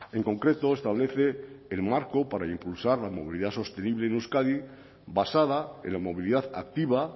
en concreto establece el marco para impulsar la movilidad sostenible en euskadi basada en la movilidad activa